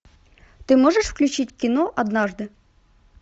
ты можешь включить кино однажды